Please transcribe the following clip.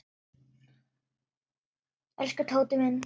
Elsku Tóti minn.